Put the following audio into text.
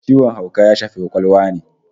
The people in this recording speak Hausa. Ciwon hauka ya shafi kwakwalwa ne